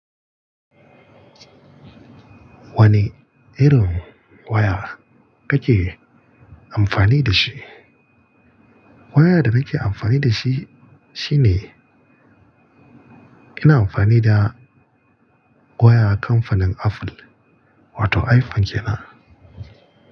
Wane irin waya kake amfani da shi? Wayar da nake amfani da shi shine, ina amfani da waya kamfanin Apple wato iPhone kenan.